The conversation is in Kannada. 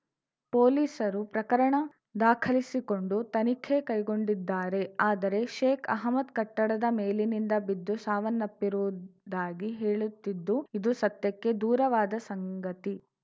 ಪೊಲೀಸರು ಪ್ರಕರಣ ದಾಖಲಿಸಿಕೊಂಡು ತನಿಖೆ ಕೈಗೊಂಡಿದ್ದಾರೆ ಆದರೆ ಶೇಕ್‌ ಅಹಮ್ಮದ್‌ ಕಟ್ಟಡದ ಮೇಲಿನಿಂದ ಬಿದ್ದು ಸಾವನ್ನಪ್ಪಿರುವುದಾಗಿ ಹೇಳುತ್ತಿದ್ದು ಇದು ಸತ್ಯಕ್ಕೆ ದೂರವಾದ ಸಂಗತಿ